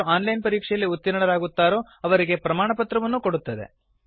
ಯಾರು ಆನ್ಲೈನ್ ಪರೀಕ್ಷೆಯಲ್ಲಿ ಉತ್ತೀರ್ಣರಾಗುತ್ತಾರೋ ಅವರಿಗೆ ಪ್ರಮಾಣಪತ್ರವನ್ನೂ ಕೊಡುತ್ತದೆ